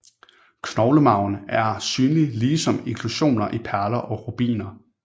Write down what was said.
Knoglemarven er synlig ligesom inklusioner i perler og rubiner